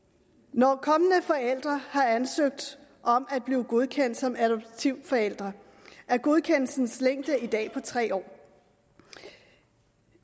når kommende forældre har ansøgt om at blive godkendt som adoptivforældre er godkendelsens længde i dag på tre år